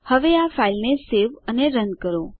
હવે આ ફાઈલને સેવ અને રન કરો